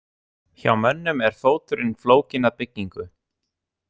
Hjá mönnum er fóturinn flókin að byggingu.